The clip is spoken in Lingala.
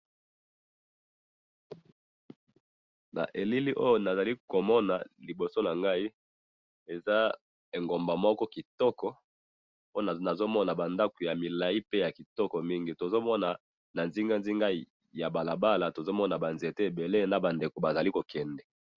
na elili oyo na zali ko mona liboso na ngai, eza egomba moko kitoko, po nazo mona ba ndako ya milai pe ya kitoko mingi, tozo mona na nzinga nzinga ya balabala, tozo mona ba nzete ebele na ba ndeko ba zali ko kende